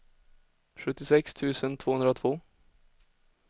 sjuttiosex tusen tvåhundratvå